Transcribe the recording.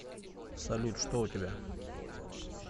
салют что у тебя